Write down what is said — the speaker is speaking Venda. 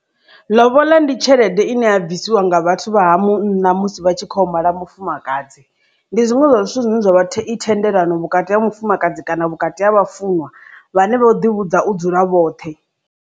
Lobola ndi tshelede ine ya bvisiwa nga vhathu vha ha munna musi vha tshi kho mala mufumakadzi ndi zwiṅwe zwa zwithu zwine zwavha i thendelano vhukati ha mufumakadzi kana vhukati ha vhafunwa vhane vho ḓi vhudza u dzula vhoṱhe.